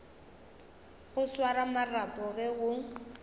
go swara marapo ge go